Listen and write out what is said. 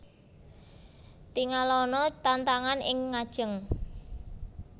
Tingalana tantangan ing ngajeng